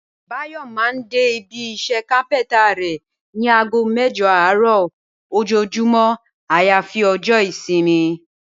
Báyò̩ máa n dé ibi is̩é̩ kápé̩ńtà rè̩ ní aago mé̩jo̩ àárò̩ ojoojúmó̩ àyàfi o̩jó̩ ìsimi